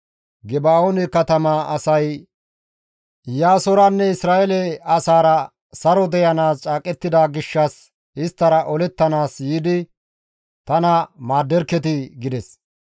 «Geba7oone katamaa asay Iyaasoranne Isra7eele asaara saro deyanaas caaqettida gishshas isttara olettanaas yiidi tana maadderketii!» gides.